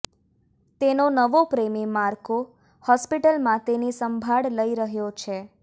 તેનો નવો પ્રેમી માર્કો હોસ્પિટલમાં તેની સંભાળ લઇ રહ્યો છે